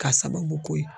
K'a sababu k'o ye